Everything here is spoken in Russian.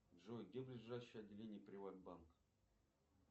джой где ближайшее отделение приватбанка